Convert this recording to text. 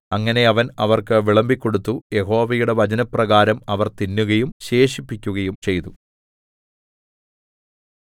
അങ്ങനെ അവൻ അവർക്ക് വിളമ്പിക്കൊടുത്തു യഹോവയുടെ വചനപ്രകാരം അവർ തിന്നുകയും ശേഷിപ്പിക്കുകയും ചെയ്തു